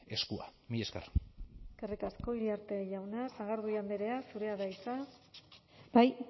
eskua mila esker eskerrik asko iriarte jauna sagardui andrea zurea da hitza bai